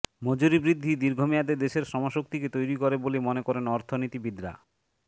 মজুরি বৃদ্ধি দীর্ঘমেয়াদে দেশের শ্রমশক্তিকে তৈরি করে বলে মনে করেন অর্থনীতিবিদরা